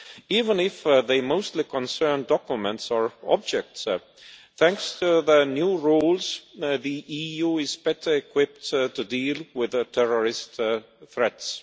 Even if they mostly concerned documents or objects, thanks to the new rules, the EU is better equipped to deal with terrorist threats.